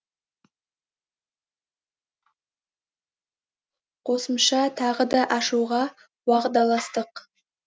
қосымша тағы да ашуға уағдаластық